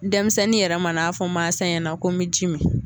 Denmisɛnnin yɛrɛ mana n'a fɔ mansa ɲɛna ko n mi ji min